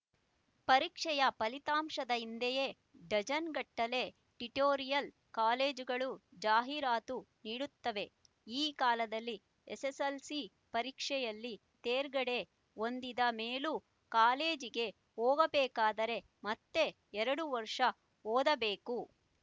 ಪರೀಕ್ಷೆಯ ಫಲಿತಾಂಶದ ಹಿಂದೆಯೇ ಡಜನ್‍ಗಟ್ಟಲೆ ಟ್ಯುಟೋರಿಯಲ್ ಕಾಲೇಜುಗಳು ಜಾಹೀರಾತು ನೀಡುತ್ತವೆ ಈ ಕಾಲದಲ್ಲಿ ಎಸ್ಎಸ್ಎಲ್ಸಿ ಪರೀಕ್ಷೆಯಲ್ಲಿ ತೇರ್ಗಡೆ ಹೊಂದಿದ ಮೇಲೂ ಕಾಲೇಜಿಗೆ ಹೋಗಬೇಕಾದರೆ ಮತ್ತೆ ಎರಡು ವರ್ಷ ಓದಬೇಕು